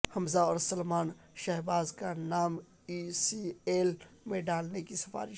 حمزہ اور سلمان شہباز کا نام ای سی ایل میں ڈالنے کی سفارش